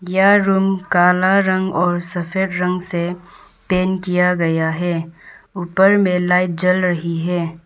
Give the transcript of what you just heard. यह रूम काला रंग और सफेद रंग से पेंट किया गया है ऊपर में लाइट जल रही है।